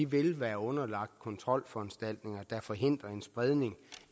vil være underlagt kontrolforanstaltninger der forhindrer en spredning